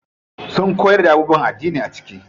Sun koyar da abubuwan addini a ciki.